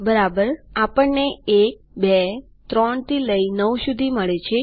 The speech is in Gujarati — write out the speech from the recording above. બરાબર આપણને ૧૨૩ થી લઇ ૯ સુધી મળે છે